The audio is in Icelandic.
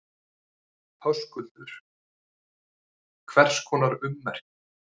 Höskuldur: Hvers konar ummerki?